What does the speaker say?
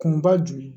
Kunba jumɛn